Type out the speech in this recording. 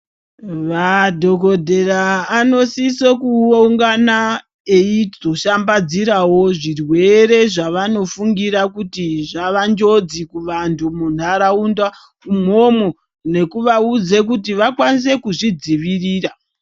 Vadhokodhera anosise kuungana eizoshambadzirawo zvirwere zvavanofungira kuti zvava njodzi kuvantu munharaunda imwomwo nekuvaudza kuti vakwanise kuzvidzivirira.